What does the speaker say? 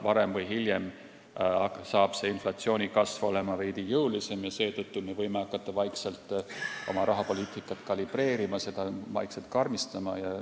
Varem või hiljem on inflatsiooni kasv veidi jõulisem ja seetõttu me võime hakata vaikselt oma rahapoliitikat kalibreerima, seda karmistama.